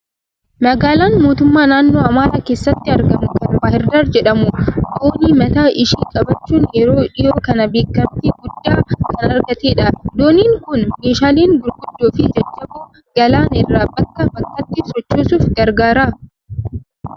Magaalaan mootummaa naannoo Amaaraa keessatti argamu kan Baahirdaar jedhamu doonii mataa ishii qabaachuun yeroo dhiyoo kana beekamtii guddaa kan argattedha. Dooniin kun meeshaalee gurguddoo fi jajjaboo galaana irra bakkaa bakkatti sochoosuuf gargaara.